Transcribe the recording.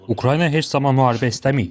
Ukrayna heç zaman müharibə istəməyib.